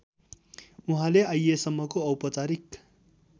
उहाँले आइएसम्मको औपचारिक